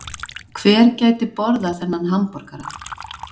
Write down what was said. Hver gæti borðað þennan hamborgara